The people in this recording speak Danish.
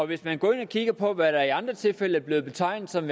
hvis man går ind og kigger på hvad der i andre tilfælde er blevet betegnet som